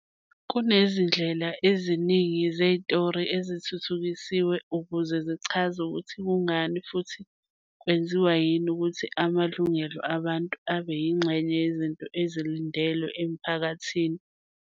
Kunezindlela eziningi zethiyori ezithuthukisiwe ukuze zichaze ukuthi kungani futhi kwenziwa yini ukuthi amalungelo abantu abe yingxenye yezinto ezilindelwe umphakathi.